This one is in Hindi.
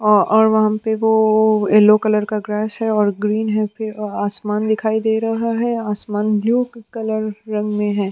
और और वहाँ पे वो येलो कलर का ग्रास है और ग्रीन है फिर आसमान दिखाई दे रहा है आसमान ब्लू कलर रंग में है।